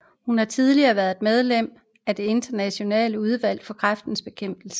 Hun har tidligere været medlem af det midlertidige Udvalg for Kræftbekæmpelse